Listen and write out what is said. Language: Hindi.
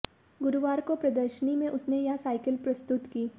गुरुवार को प्रदर्शनी में उसने यह साइकिल प्रस्तुत की